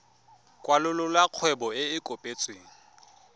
kwalolola kgwebo e e kopetsweng